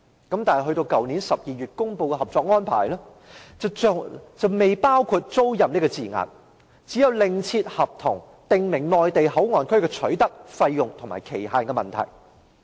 但是，去年12月公布的《合作安排》，卻並未包含"租賃"這字眼，而要另立合同規定內地口岸區的取得、費用及期限。